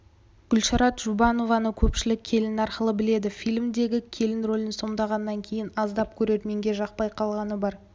гүлшарат жұбаеваны көпшілік келін арқылы біледі фильмдегі келін рөлін сомдағаннан кейін аздап көрерменге жақпай қалғаны бар